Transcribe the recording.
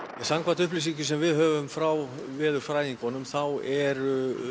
samkvæmt upplýsingum sem við höfum frá veðurfræðingum þá er